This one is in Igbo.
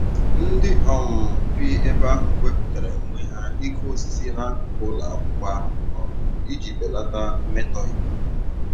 Ndị um bi ebe ahụ wepụtara onwe ha ịkụ osisi n'akụkụ ụlọ akwụkwọ ahụ um iji belata mmetọ ikuku.